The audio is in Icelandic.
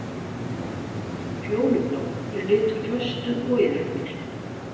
Fjólublár er litur föstu og iðrunar.